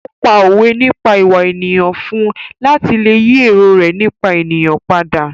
Ó pá òwe nípa ìwà ènìyàn fún un láti lè yí èrò rẹ nípa ènìyàn padà.